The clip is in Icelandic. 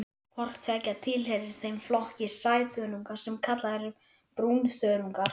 Hvort tveggja tilheyrir þeim flokki sæþörunga sem kallaður er brúnþörungar.